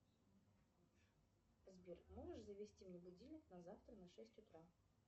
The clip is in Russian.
сбер можешь завести мне будильник на завтра на шесть утра